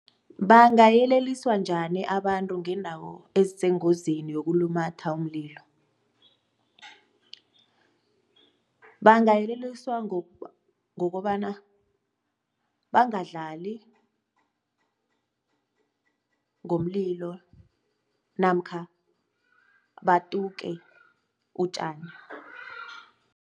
Bangayeleliswa njani abantu ngeendawo ezisengozini yokulumatha umlilo? Bangayeleliswa ngokobana bangadlali ngomlilo namkha batuke utjani.